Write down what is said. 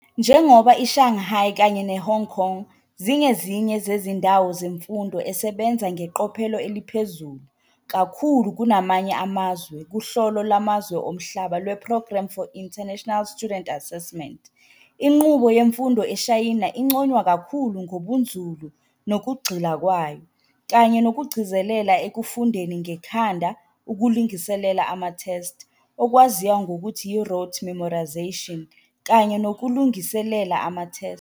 Njengoba i-Shanghai kanye ne-Hong Kong zingezinye zezindawo zemfundo esebenza ngeqophelo eliphezulu kakhkulu kunamanye amazwe kuhlolo lwamazwe omhlaba lwe-Programme for International Student Assessment, inqubo yemfundo eShayina inconywa kakhulu ngobunzulu nokugxila kwayo, kanye nokugcizelela ekufundeni ngekhanda ukulungiselela ama-test, okwaziwa ngokuthi yi-rote memorization kanye nokulungiselelela ama-test.